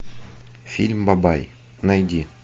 фильм бабай найди